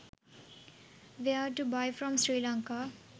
where to buy from sri lanka